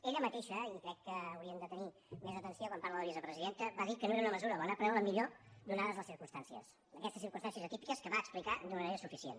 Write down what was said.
ella mateixa i crec que haurien de tenir més atenció quan parla la vicepresidenta va dir que no era una mesura bona però era la millor ateses les circumstàncies aquestes circumstàncies atípiques que va explicar d’una manera suficient